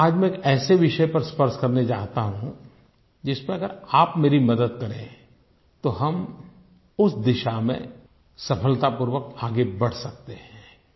आज मैं एक ऐसे विषय पर स्पर्श करना चाहता हूँ जिस पर अगर आप मेरी मदद करें तो हम उस दिशा में सफलतापूर्वक आगे बढ़ सकते हैं